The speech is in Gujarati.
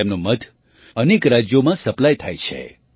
તેમનું મધ અનેક રાજ્યોમાં સપ્લાય થાય છે